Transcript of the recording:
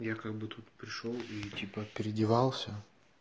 я как бы тут пришёл и типа переодевался